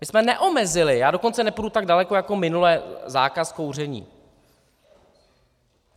My jsme neomezili, já dokonce nepůjdu tak daleko jako minule, zákaz kouření.